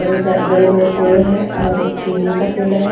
बड़े बड़े पेड़ है और एक केले का पेड़ है।